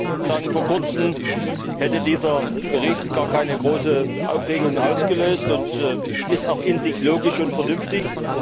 Herr Präsident! Vor kurzem hätte dieser Bericht gar keine große Aufregung ausgelöst und er ist auch in sich logisch und vernünftig.